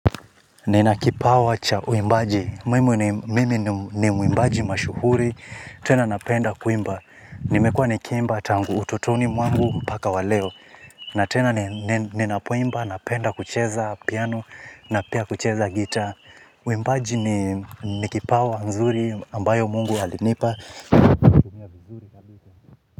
Nina kipawa cha uimbaji. Mimi ni muimbaji mashuhuri. Tena napenda kuimba. Nimekua nikiimba tangu utotoni mwangu mpaka waleo. Na tena ninapoimba napenda kucheza piano na pia kucheza gitaa. Uimbaji ni kipawa nzuri ambayo mungu alinipa.